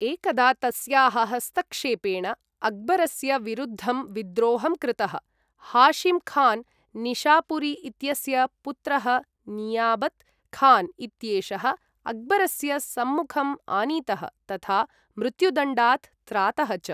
एकदा तस्याः हस्तक्षेपेण, अक्बरस्य विरुद्धं विद्रोहं कृतः, हाशिम् खान्, निशापुरी इत्यस्य पुत्रः नियाबत् खान् इत्येषः अक्बरस्य सम्मुखं आनीतः तथा मृत्युदण्डात् त्रातः च।